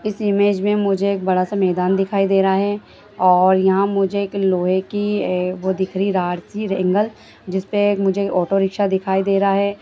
इस इमेज में मुझे एक बड़ा सा मैदान दिखाई दे रहा है और यहाँ मुझे एक लोहे की ए वो दिख रही है एंगल जिस पे मुझे एक ऑटो रिक्शा दिखाई दे रहा है।